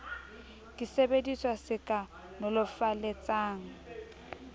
ke sesebediswa se ka nolofaletsang